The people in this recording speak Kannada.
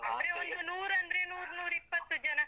ಒಂದು ನೂರು ಅಂದ್ರೆ ನೂರು ನೂರಿಪ್ಪತ್ತು ಜನ.